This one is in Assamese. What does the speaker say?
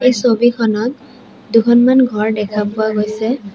এই ছবিখনত দুখনমান ঘৰ দেখা পোৱা গৈছে।